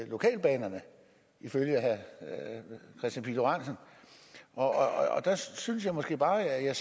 lokalbanerne ifølge herre kristian pihl lorentzen og der synes jeg måske bare at jeg